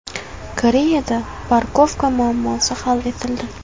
Koreyada parkovka muammosi hal etildi.